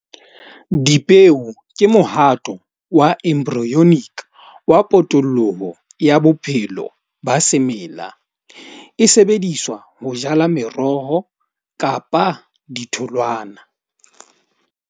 Dipeo ke mohato wa wa potolloho ya bophelo ba semela. E sebediswa ho jala meroho kapa ditholwana.